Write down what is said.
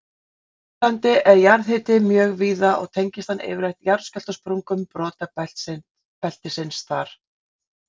Á Suðurlandi er jarðhiti mjög víða og tengist hann yfirleitt jarðskjálftasprungum brotabeltisins þar.